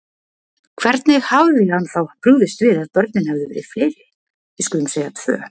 Hvernig hefði hann þá brugðist við ef börnin hefðu verið fleiri. við skulum segja tvö?